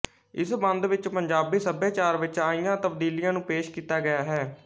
ਇਸ ਬੰਦ ਵਿੱਚ ਪੰਜਾਬੀ ਸੱਭਿਆਚਾਰ ਵਿੱਚ ਆਈਆਂ ਤਬਦੀਲੀਆਂ ਨੂੰ ਪੇਸ਼ ਕੀਤਾ ਗਿਆ ਹੈ